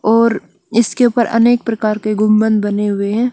और इसके उपर अनेक प्रकार के गुम्बन बने हुए है।